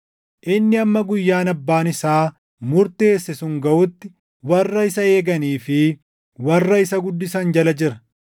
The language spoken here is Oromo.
Inni hamma guyyaan abbaan isaa murteesse sun gaʼutti warra isa eeganii fi warra isa guddisan jala jira.